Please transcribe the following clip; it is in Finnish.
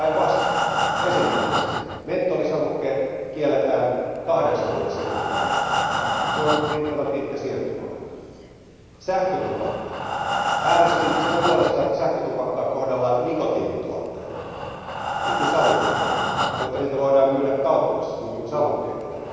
Päinvastoin, esimerkiksi mentolsavukkeet kielletään kahdeksan vuoden siirtymäajalla, se on riittävän pitkä siirtymäaika. Sähkötupakka, äänestin sen puolesta, että sähkötupakkaa kohdellaan nikotiinituotteena, niin kuin savukkeitakin, jotta niitä voidaan myydä kaupoissa, niin kuin savukkeitakin.